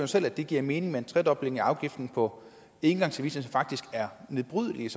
selv at det giver mening med en tredobling af afgiften på engangsservice som faktisk er nedbrydeligt